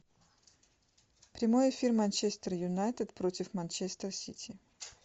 прямой эфир манчестер юнайтед против манчестер сити